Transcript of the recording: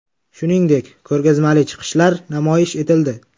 Shuningdek, ko‘rgazmali chiqishlar namoyish etildi.